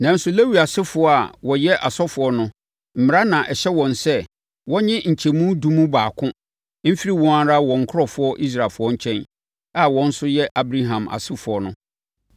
Nanso, Lewi asefoɔ a wɔyɛ asɔfoɔ no Mmara na ɛhyɛ wɔn sɛ wɔnnye nkyɛmu edu mu baako mfiri wɔn ara wɔn nkurɔfoɔ Israelfoɔ nkyɛn a wɔn nso yɛ Abraham asefoɔ no.